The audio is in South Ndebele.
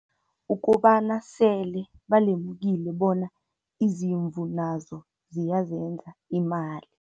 Ukobana sele balemukile bona, izimvu nazo ziyazenza imali.